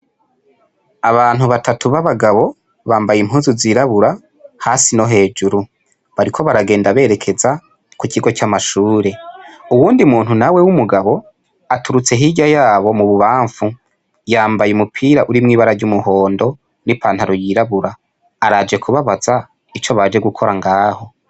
Abantu batatu b'abagabo bambaye impuzu zirabura hasi no hejuru , bariko baragenda berekeza ku kigo c'amashure. Uwundi muntu nawo w'umugabo aturutse hirya yabo mu bubanfu yambaye umupira urimw'ibara ry'umuhondo n'ipantaro yirabura araje kubabaza ico baje gukora ngaho.